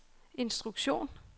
instruktion